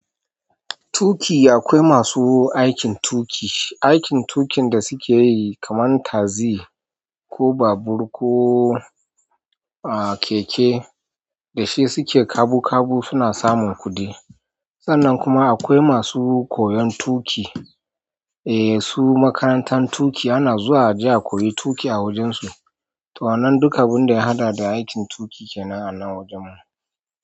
Tuƙi akwai masu aikin tuƙi, aikin tuƙin da suke yi kaman taxi ko babur, ko, a, keke da shi suke kabu kabu suna samun kuɗi. Sannan kuma akwai masu koyan tuƙi, eh, su makarantan tuƙi ana zuwa aje a koyi tuƙi a wajensu. To nan duka abun da ya haɗa da aikin tuƙi kenan a nan wajen mu.